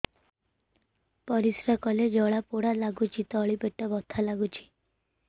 ପରିଶ୍ରା କଲେ ଜଳା ପୋଡା ଲାଗୁଚି ତଳି ପେଟ ବଥା ଲାଗୁଛି